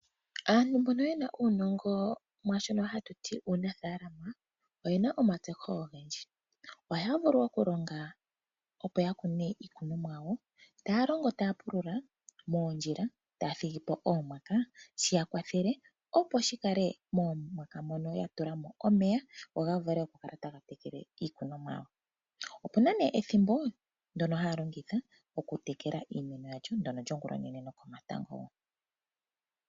Aantu mbono yena uunongo mwaashono hatu ti uunafaalama oyena omatseho(ontseyo) ogendji. Ohaya vulu okulonga opo ya kune iikunomwa yawo .Taya longo taya pulula moondjila taya thigipo oomwaka shi yakwathele opo shi kale moomwaka mono ya tula mo omeya go ga vule okukala taga tekele iikunomwa yawo. Opuna nee ethimbo ndono haya longitha okutekela iikunomwa yawo ndono lyongulonene nokomatango wo.